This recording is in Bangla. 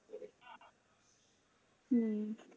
হম